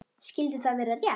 Skyldi það vera rétt?